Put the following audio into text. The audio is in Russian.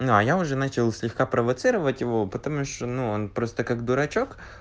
ну а я уже начал слегка провоцировать его потому что ну он просто как дурачок